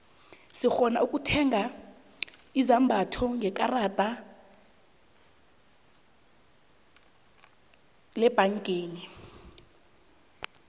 sirhona ukutheiga izombatho ngekarada lebhangeni